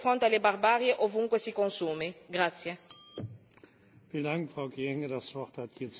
Non possiamo più assistere indifferenti e rimanere indifferenti di fronte alla barbarie ovunque si consumi.